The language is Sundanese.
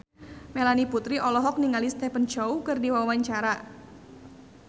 Melanie Putri olohok ningali Stephen Chow keur diwawancara